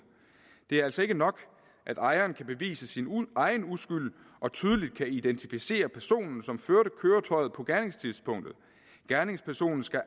det er altså ikke nok at ejeren kan bevise sin egen uskyld og tydeligt kan identificere personen som førte køretøjet på gerningstidspunktet gerningspersonen skal